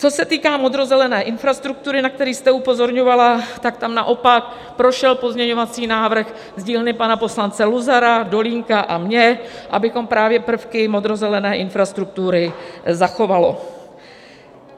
Co se týká modrozelené infrastruktury, na který jste upozorňovala, tak tam naopak prošel pozměňovací návrh z dílny pana poslance Luzara, Dolínka a mé, abychom právě prvky modrozelené infrastruktury zachovali.